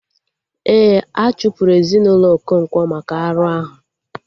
Ee, a chụpụrụ ezinaụlọ Okonkwo maka arụ ahụ